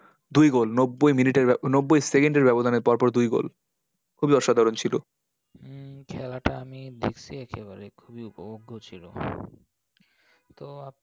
দুই goal নব্বই মিনিটের নব্বই সেকেন্ডের ব্যাবধানে পরপর দুই goal খুবই অসাধারণ ছিল। উম খেলাটা আমি দেখসি একেবারে। খুবই উপভোগ্য ছিল। তো